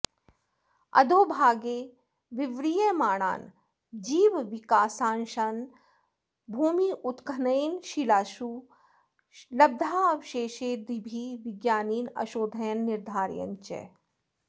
अधोभागे विव्रियमाणान् जीवविकासांशान् भूम्युत्खननेन शिलासु लब्धावशेषादिभिः विज्ञानिनः अशोधयन् निरधारयन् च